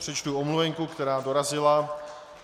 Přečtu omluvenku, která dorazila.